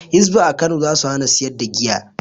Hisba a Kano za su hana sayar da giya.